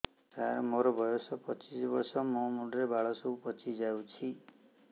ସାର ମୋର ବୟସ ପଚିଶି ବର୍ଷ ମୋ ମୁଣ୍ଡରେ ବାଳ ସବୁ ପାଚି ଯାଉଛି